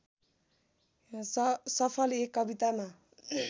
सफल एक कवितामा